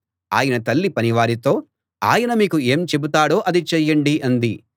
ఆయన తల్లి పనివారితో ఆయన మీకు ఏం చెబుతాడో అది చేయండి అంది